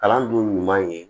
Kalan dun ɲuman ye